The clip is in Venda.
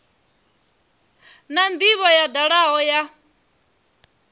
na ndivho yo dalaho ya